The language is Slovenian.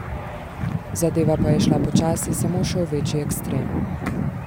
Zadeva pa je šla počasi samo še v večji ekstrem.